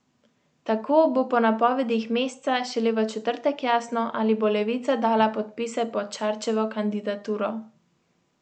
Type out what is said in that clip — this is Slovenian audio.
Tako bo po napovedih Mesca šele v četrtek jasno, ali bo Levica dala podpise pod Šarčevo kandidaturo.